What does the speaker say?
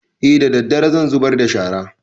E daddare zan zubar da shara